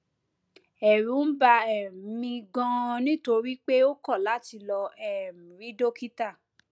ẹrù ń bà um mí ganan nítorí pé ó kọ láti lọ um rí dókítà